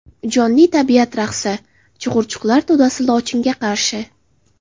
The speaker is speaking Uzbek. Jonli tabiat raqsi: Chug‘urchuqlar to‘dasi lochinga qarshi .